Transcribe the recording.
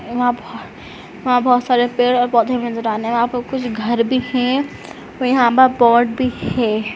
वहां बह वहाँ बहोत सारे पेड़ और पौधे भी नजर आने हैंकुछ घर भी हैं और यहाँ पर पॉट भी है।